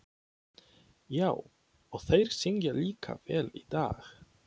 Já, og þeir syngja líka vel í dag.